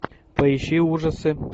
поищи ужасы